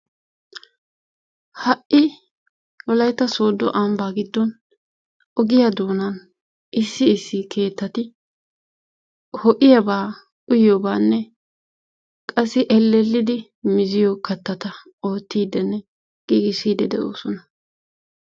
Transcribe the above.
Ha'i wolaytta soodo ambaa giddon ogiyaa doonan issi issi keettati ho'iyaaba uyyiyoobaanne qassi ellellidi mizziyo katatta ootiidinne giigissidi de'oosna.